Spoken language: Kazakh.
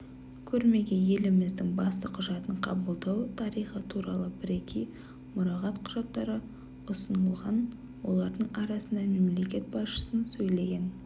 көрмеге еліміздің басты құжатын қабылдау тарихы туралы бірегей мұрағат құжаттары ұсынылған олардың арасында мемлекет басшысының сөйлеген